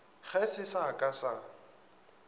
ge se sa ka sa